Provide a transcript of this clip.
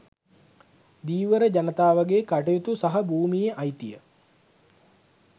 ධීවර ජනතාවගේ කටයුතු සහ භූමියේ අයිතිය